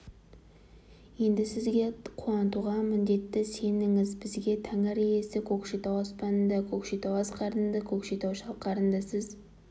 енді сізді қуантуға міндетті сеніңіз бізге тәңір иесі көкшетау аспанында көкшетау асқарында көкшетау шалқарында сіз